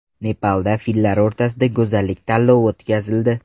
Nepalda fillar o‘rtasida go‘zallik tanlovi o‘tkazildi .